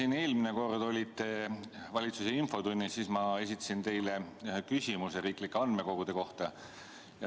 Kui te eelmine kord olite siin valitsuse infotunnis, siis ma esitasin teile küsimuse riiklike andmekogude kohta.